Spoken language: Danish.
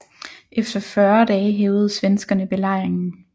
Efter 40 dage hævede svenskerne belejringen